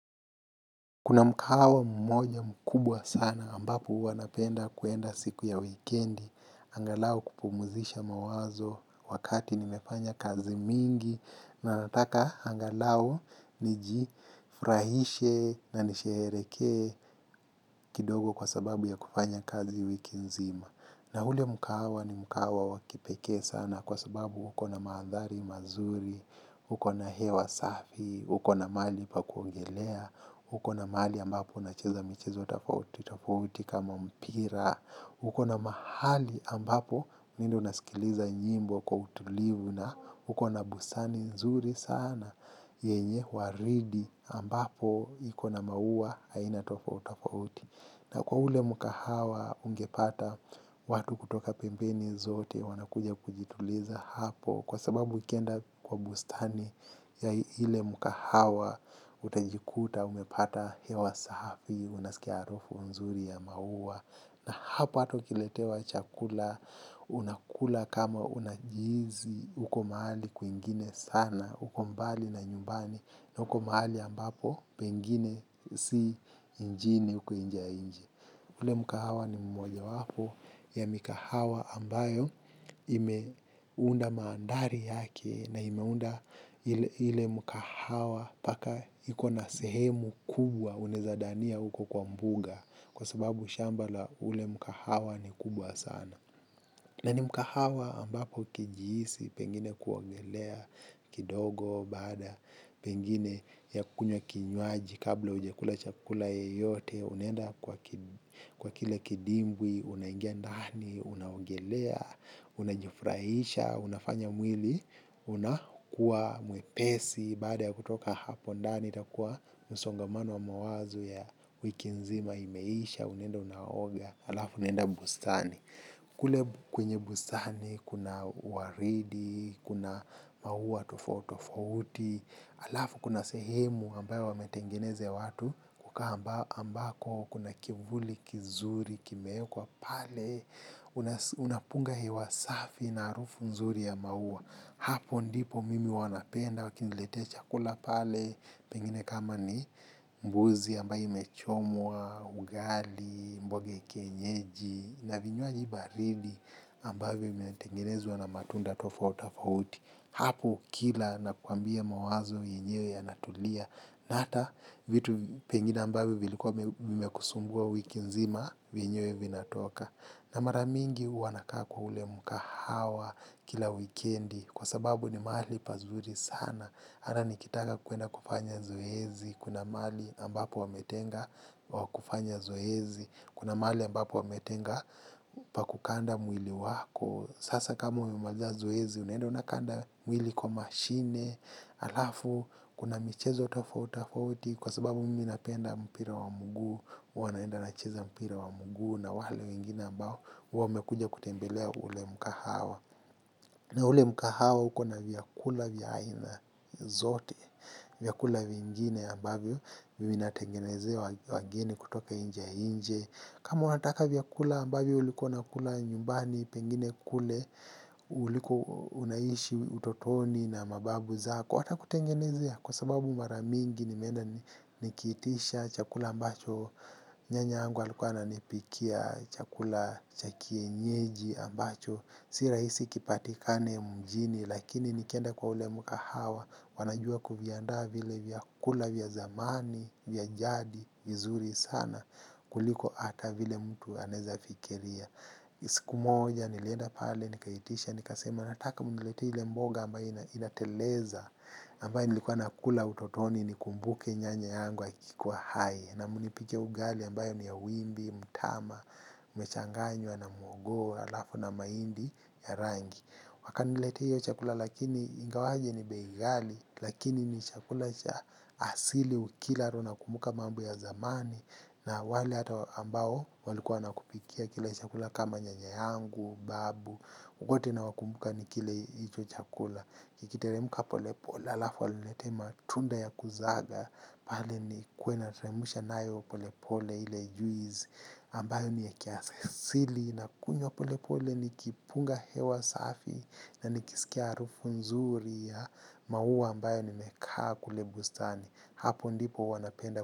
Kuna mkahawa mmoja mkubwa sana ambapo huwa napenda kuenda siku ya wikendi, angalau kupumzisha mawazo wakati nimefanya kazi mingi na nataka angalau nijifurahishe na nisherehekee kidogo kwa sababu ya kufanya kazi wiki nzima. Na ule mkahawa ni mkahawa wa kipekee sana kwa sababu uko na maandhari mazuri, uko na hewa safi, uko na mahali pa kuogelea, uko na mahali ambapo nacheza michezo tafautitafauti kama mpira, uko na mahali ambapo mimi ndo nasikiliza nyimbo kwa utulivu na uko na bustani nzuri sana, yenye waridi ambapo ikona maua aina tafautitofauti. Na kwa ule mkahawa ungepata watu kutoka pembeni zote wanakuja kujituliza hapo kwa sababu ukienda kwa bustani ya ile mkahawa utajikuta umepata hewa safi unasikia harufu nzuri ya maua na hapo hata ukiletewa chakula unakula kama unajihisi uko mahali kwingine sana uko mbali na nyumbani. Na uko mahali ambapo pengine si nchini uku nchi ya nje. Ule mkahawa ni mojawapo ya mikahawa ambayo imeunda maandhari yake na imeunda ile mkahawa mpaka ikona sehemu kubwa unaweza dhania uko kwa mbuga kwa sababu shamba la ule mkahawa ni kubwa sana. Na ni mkahawa ambapo ukiijihisi, pengine kuongelea kidogo, baada pengine ya kunywa kinywaji kabla hujakula chakula yeyote, unaenda kwa kile kidimbwi, unaingia ndani, unaogelea, unajifurahisha, unafanya mwili, unakuwa mwepesi, baada ya kutoka hapo ndani, itakuwa msongamano wa mawazo ya wiki nzima imeisha, unaenda unaoga, alafu unaenda bustani. Kule kwenye busani, kuna waridi, kuna maua tofauti tofauti, alafu kuna sehemu ambayo wametengeneza ya watu, kukaa ambako kuna kivuli, kizuri, kimewekwa pale, unapunga hewa safi na harufu nzuri ya maua. Hapo ndipo mimi huwa napenda wakiniletea chakula pale pengine kama ni mbuzi ambayo imechomwa, ugali, mboga ya kenyeji na vinywaji baridi ambayo imetengenezwa na matunda tofauti tofauti hapo kila nakuambia mawazo yenyewe yanatulia na hata vitu pengine ambavyo vilikua vimekusumbua wiki nzima vyenyewe vinatoka. Na mara mingi huwa nakaa kwa ule mkahawa kila wikendi kwa sababu ni mahali pazuri sana. Hata nikitaka kuenda kufanya zoezi, kuna mahali ambapo wametenga wa kufanya zoezi, kuna mahali ambapo wametenga pa kukanda mwili wako. Sasa kama umaliza zoezi, unaenda unakanda mwili kwa mashine, alafu, kuna michezo tafauti tofauti kwa sababu mimi napenda mpira wa mguu, huwa naenda nacheza mpira wa mguu na wale wengine ambao, wamekuja kutembelea ule mkahawa. Na ule mkahawa ukona vyakula vya aina zote, vyakula vingine ambavyo, vinatengenezewa wageni kutoka nchi ya nje. Kama unataka vyakula ambavyo ulikuwa unakula nyumbani pengine kule, uliko unaishi utotoni na mababu zako, watakutengenezea kwa sababu mara mingi nimeenda nikiitisha, chakula ambacho, nyanya yangu alikwa ananipikia, chakula cha kienyeji ambacho, si rahisi kipatikane mjini, lakini nikienda kwa ule mkahawa, wanajua kuviandaa vile vyakula vya zamani, vya jadi, vizuri sana, kuliko ata vile mtu anaweza fikiria. Siku moja, nilienda pale, nikaitisha, nikasema, nataka mniletee ile mboga ambaye inateleza, ambaye nilikuwa nakula utotoni nikumbuke nyanya yangu akikuwa hai. Na mnipike ugali ambayo ni ya wimbi, mtama, imechanganywa na mhogo, alafu na mahindi ya rangi. Wakaniletea hiyo chakula lakini ingawaje ni bei ghali. Lakini ni chakula asili ukila roho unakumbuka mambo ya zamani. Na wale hata ambao walikuwa wanakupikia kile chakula kama nyanya yangu, babu wote nawakumbuka nikila hicho chakula. Kikiteremka polepole alafu waniletee matunda ya kuzaga. Pale nikuwe nateremusha nayo polepole ile juice ambayo ni ya kiasili nakunywa polepole nikipunga hewa safi. Na nikisikia harufu nzuri ya maua ambayo nimekaa kule bustani. Hapo ndipo huwa napenda.